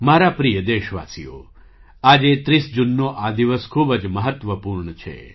મારા પ્રિય દેશવાસીઓ આજે ૩૦ જૂનનો આ દિવસ ખૂબ જ મહત્ત્વપૂર્ણ છે